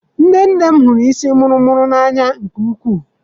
Nne nne m hụrụ isii muru muru n'anya nke ukwuu.